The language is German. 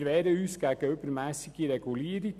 Wir wehren uns gegen übermässige Regulierungen.